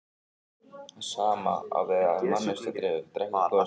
Það sama á við ef manneskja drekkur gosið.